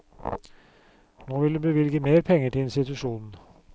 Nå vil hun bevilge mer penger til institusjonen.